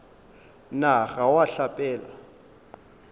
na ga o a hlapela